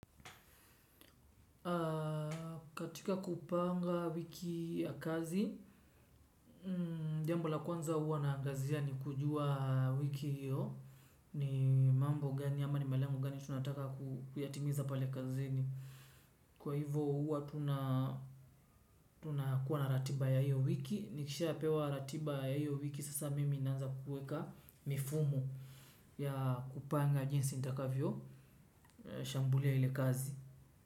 Katika kupanga wiki ya kazi, jambo la kwanza hua naangazia ni kujua wiki hiyo, ni mambo gani ama ni malengo gani tunataka kuyatimiza pale kazini kwa hivo hua tunakuwa na ratiba ya hiyo wiki, nikishapewa ratiba ya hiyo wiki sasa mimi naanza kueka mifumo ya kupanga jinsi nitakavyo shambulia ile kazi.